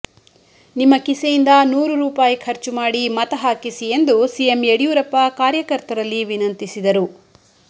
ನಿಮ್ಮ ಕಿಸೆಯಿಂದ ನೂರು ರೂಪಾಯಿ ಖರ್ಚು ಮಾಡಿ ಮತ ಹಾಕಿಸಿ ಎಂದು ಸಿಎಂ ಯಡಿಯೂರಪ್ಪ ಕಾರ್ಯಕರ್ತರಲ್ಲಿ ವಿನಂತಿಸಿದರು